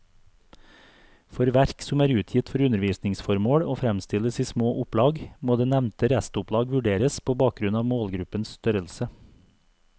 For verk som er utgitt for undervisningsformål og fremstilles i små opplag, må det nevnte restopplag vurderes på bakgrunn av målgruppens størrelse.